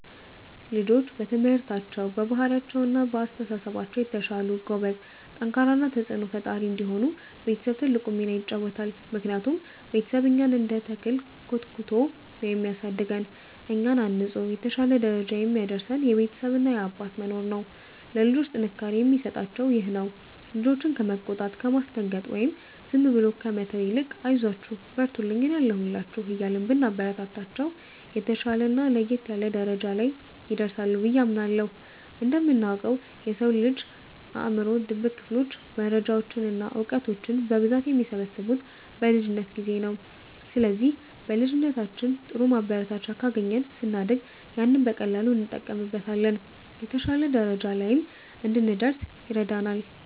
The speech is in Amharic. ልጆች በትምህርታቸው፣ በባህሪያቸው እና በአስተሳሰባቸው የተሻሉ፣ ጎበዝ፣ ጠንካራ እና ተጽዕኖ ፈጣሪ እንዲሆኑ ቤተሰብ ትልቁን ሚና ይጫወታል። ምክንያቱም ቤተሰብ እኛን እንደ ተክል ኮትኩቶ ነው የሚያሳድገን፤ እኛን አንጾ የተሻለ ደረጃ የሚያደርሰን የቤተሰብ እና የአባት መኖር ነው። ለልጆች ጥንካሬን የሚሰጣቸውም ይሄው ነው። ልጆችን ከመቆጣት፣ ከማስደንገጥ ወይም ዝም ብሎ ከመተው ይልቅ 'አይዟችሁ፣ በርቱልኝ፣ እኔ አለሁላችሁ' እያልን ብናበረታታቸው፣ የተሻለና ለየት ያለ ደረጃ ላይ ይደርሳሉ ብዬ አምናለሁ። እንደምናውቀው፣ የሰው ልጅ አእምሮ ድብቅ ክፍሎች መረጃዎችን እና እውቀቶችን በብዛት የሚሰበስቡት በልጅነት ጊዜ ነው። ስለዚህ በልጅነታችን ጥሩ ማበረታቻ ካገኘን፣ ስናድግ ያንን በቀላሉ እንጠቀምበታለን፤ የተሻለ ደረጃ ላይም እንድንደርስ ይረዳናል።